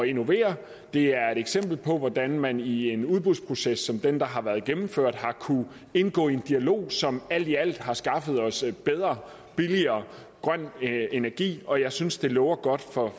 innovere det er et eksempel på hvordan man i en udbudsproces som den der har været gennemført har kunnet indgå en dialog som alt i alt har skaffet os bedre og billigere grøn energi og jeg synes det lover godt